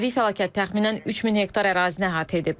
Təbii fəlakət təxminən 3000 hektar ərazini əhatə edib.